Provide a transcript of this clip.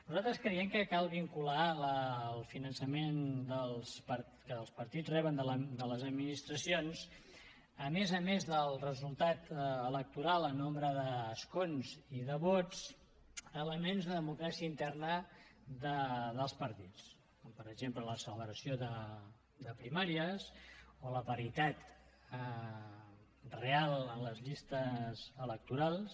nosaltres creiem que cal vincular al finançament que els partits reben de les administracions a més a més del resultat electoral en nombre d’escons i de vots elements de democràcia interna dels partits com per exemple la celebració de primàries o la paritat real en les llistes electorals